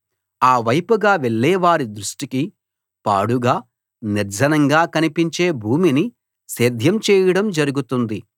ఆ వైపుగా వెళ్ళే వారి దృష్టికి పాడుగా నిర్జనంగా కనిపించే భూమిని సేద్యం చేయడం జరుగుతుంది